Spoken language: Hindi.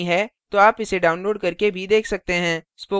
यदि आपके पास अच्छा bandwidth नहीं है तो आप इसे download करके देख सकते हैं